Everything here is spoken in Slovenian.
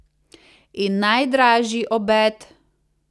In najdražji obed?